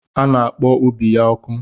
Ọ na-akpọ ubi ya ọkụ.